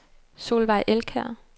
Solveig Elkjær